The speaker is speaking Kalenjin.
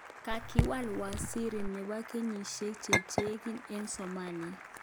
Kakilar Waziri. nepo. kenyishek cheng'ering eng Somalia